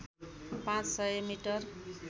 पाँच सय मिटर